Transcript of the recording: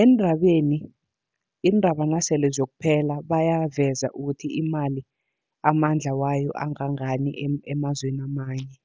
eendabeni iindaba nasele ziyokuphela bayaveza ukuthi imali amandla wayo angangani emazweni amanye.